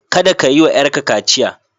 Kada ka yiwa yarka kaciya.